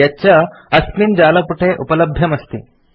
यच्च अस्मिन् जालपुटे उपलभ्यम् अस्ति